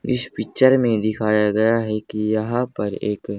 इस पिक्चर में दिखाया गया है कि यहां पर एक--